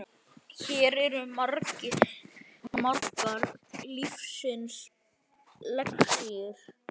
Hér eru margar lífsins lexíur.